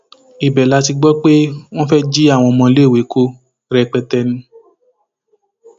ibẹ la ti gbọ pé wọn fẹẹ jí àwọn ọmọléèwé wa kó rẹpẹtẹ ni